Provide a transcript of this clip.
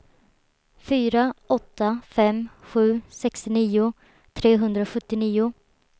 fyra åtta fem sju sextionio trehundrasjuttionio